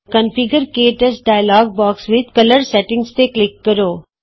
configure ਕੇ touch dialog box ਵਿਚ colour settings ਤੇ ਕਲਿਕ ਕਰੋ